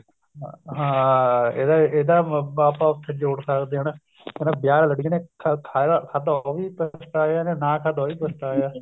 ਹਾਂ ਹਾਂ ਇਹਦਾ ਇਹਦਾ ਆਪਾਂ ਜੋੜ ਸਕਦੇ ਹਾਂ ਕਹਿੰਦਾ ਵਿਆਹ ਵਾਲੇ ਲੱਡੂ ਜੀਨੇ ਖਾ ਖਾਦਾ ਉਹ ਵੀ ਪਛਤਾਇਆ ਜਿਹਨੇ ਨਾ ਖਾਦਾ ਉਹ ਵੀ ਪਛਤਾਇਆ